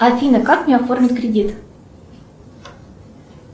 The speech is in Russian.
афина как мне оформить кредит